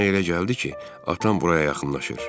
Mənə elə gəldi ki, atam buraya yaxınlaşır.